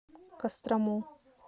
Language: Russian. кострому